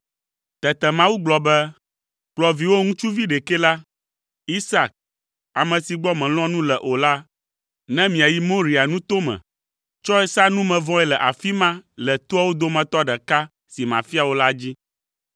Tete Mawu gblɔ be, “Kplɔ viwò ŋutsuvi ɖekɛ la, Isak, ame si gbɔ mèlɔ̃a nu le o la, ne miayi Moria nuto me. Tsɔe sa numevɔe le afi ma le toawo dometɔ ɖeka si mafia wò la dzi.”